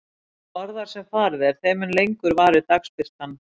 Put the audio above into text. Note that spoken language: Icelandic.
Því norðar sem farið er, þeim mun lengur varir dagsbirtan.